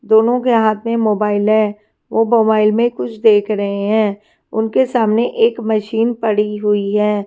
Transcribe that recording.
दोनों के हाथ में मोबाइल है वो बवाइल में कुछ देख रहें हैं उनके सामने एक मशीन पड़ी हुई हैं।